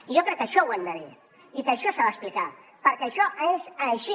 i jo crec que això ho hem de dir i que això s’ha d’explicar perquè això és així